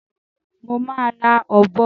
Mo má ra òbo